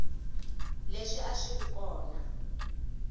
leswi a swi ri kona